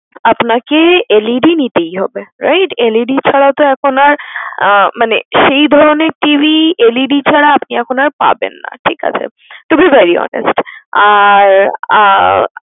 আপনাকে LED নিতেই হবে right LED ছাড়া তো এখন আর মানে সেই ধরনের TVLED ছাড়া আপনি এখন আর পাবেন না ঠিক আছে to be very honest আর আহ